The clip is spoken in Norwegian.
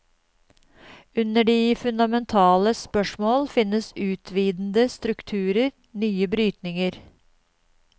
Under de fundamentale spørsmål finnes utvidende strukturer, nye brytninger.